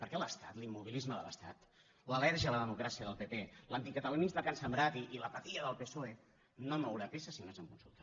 perquè l’estat l’immobilisme de l’estat l’al·lèrgia a la democràcia del pp l’anticatalanisme que han sembrat i l’apatia del psoe no mouran peça si no és amb consulta